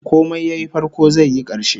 Komai yayi farko zai yi karshe